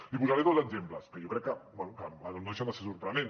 li posaré dos exemples que jo crec que bé no deixen de ser sorprenents